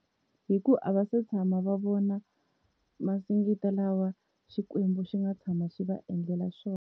Hi ku a va se tshama va vona masingita lawa Xikwembu xi nga tshama xi va endlela xona.